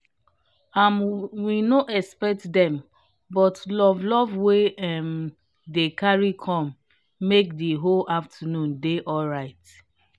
um we no expect dem but love love wey um dem carry com make the whole afternoon dey alright